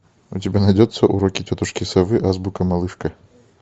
у тебя найдется уроки тетушки совы азбука малышка